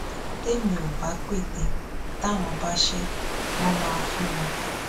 tèmi ò bá pète táwọn bá ṣẹ wọn máa fún mi